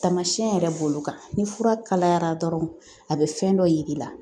Taamasiyɛn yɛrɛ bolo kan ni fura kalayara dɔrɔn a bɛ fɛn dɔ yir'i la